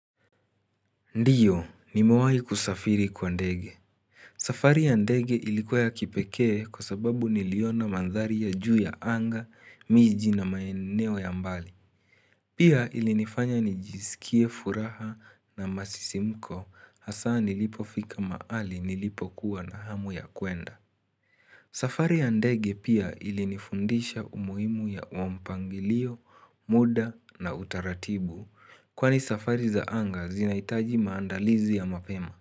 Ndiyo, nimewai kusafiri kwa ndege. Safari ya ndege ilikuwa ya kipekee kwa sababu niliona mandhari ya juu ya anga, miji na maeneo ya mbali. Pia ilinifanya nijisikie furaha na masisimko hasa nilipofika maali nilipokuwa na hamu ya kuenda. Safari ya ndege pia ilinifundisha umuhimu wa mpangilio, muda na utaratibu. Kwani safari za anga zinaitaji maandalizi ya mapema.